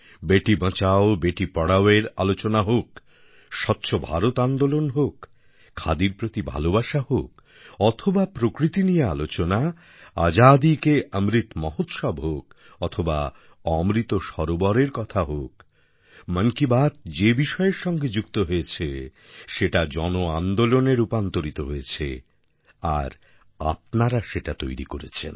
বেটি বচাওবেটি পড়াওয়ের আলোচনা হোক স্বচ্ছ ভারত আন্দোলন হোক খাদির প্রতি ভালোবাসা হোক অথবা প্রকৃতি নিয়ে আলোচনা আজাদীকেঅমৃত মহোৎসব হোক অথবা অমৃত সরোবরের কথা হোক মন কি বাত যে বিষয়ের সঙ্গে যুক্ত হয়েছে সেটা জনআন্দোলনে রূপান্তরিত হয়েছে আর আপনারা সেটা তৈরি করেছেন